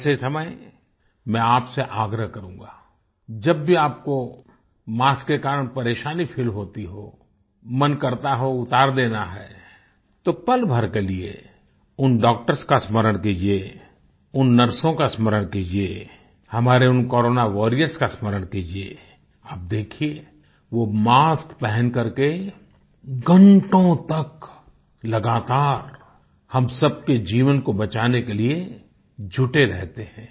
ऐसे समय मैं आप से आग्रह करूँगा जब भी आपको मास्क के कारण परेशानी फील होती हो मन करता हो उतार देना है तो पलभर के लिए उन डॉक्टर्स का स्मरण कीजिये उन नर्सों का स्मरण कीजिये हमारे उन कोरोना वारियर्स का स्मरण कीजिये आप देखिये वो मास्क पहनकर के घंटो तक लगातार हम सबके जीवन को बचाने के लिए जुटे रहते हैं